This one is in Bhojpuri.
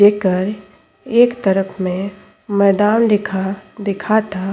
एकर एक तरफ में मैदान लिखा दिखा ता।